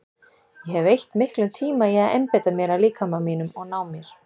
Ég hef eytt miklum tíma í að einbeita mér að líkama mínum og ná mér.